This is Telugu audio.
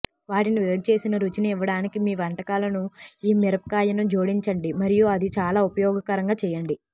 వాటిని వేడిచేసిన రుచిని ఇవ్వడానికి మీ వంటకాలకు ఈ మిరపకాయను జోడించండి మరియు అది చాలా ఉపయోగకరంగా చేయండి